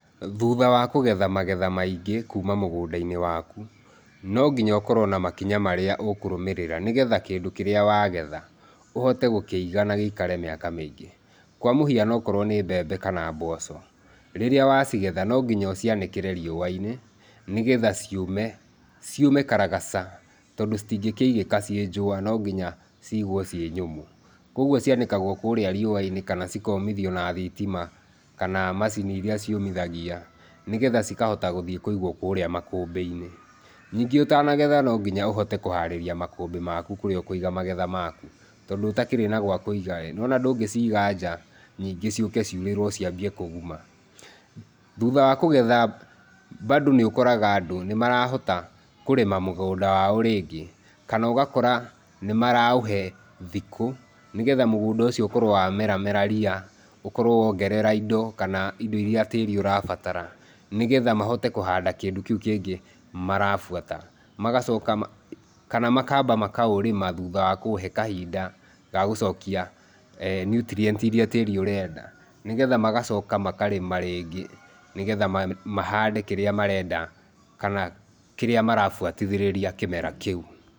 Thutha wa kũgetha magetha maingĩ kuma mũgũnda-inĩ waku nonginya ũkorwo na makinya marĩa ũkũrũmĩrĩra nĩgetha kĩndũ kĩrĩa wa getha ũhote gũkĩiga na gĩikare mĩaka mĩingĩ kwa mũhiano ũkorwo nĩ mbembe kana mboco rĩrĩa wa cigetha nonginya ũcianĩkĩre riũa-inĩ nĩgetha ciũme, ciũme karagaca tondũ citingĩkĩigĩka cinjũa nonginya cigwo cinyũmũ. Kogũo cianĩkagwo kũrĩa riũa-inĩ kana cikomithio na thitima kana macini iria ciũmithagia nĩgetha cikahota gũthiĩ kũigwo kũrĩa makũmbi-inĩ. Ningĩ ũtanagetha nonginya ũhote kũharĩria makũmbĩ maku kũrĩa ũkũiga magetha maku. Tondũ ũtakĩrĩ nagwakuiga-ĩ nĩwona ndũngĩciga nja ningĩ cĩũke ciũrĩrwo ciambie kũgũma. Thutha wa kũgetha mbandu nĩũkoraga andũ nĩmarahota kũrĩma mũgũnda wao rĩngĩ kana ugakora nĩ maraũhe thikũ nĩgetha mũgũnda ũcio ũkorwo wamera mera ria ũkorwo wongerera indo kana indo iria tĩri ũrabatara nĩgetha mahote kũhanda kĩndũ kĩu kĩngĩ marabuata magacoka kana makamba makaũrĩma thutha wa kũũhe kahinda gagucokia e nutrient iria tĩri ũrenda, nĩgetha magacoka makarĩma rĩngĩ nĩgetha mahande kĩrĩa marenda kana kĩrĩa marabuatithĩria kĩmera kĩu.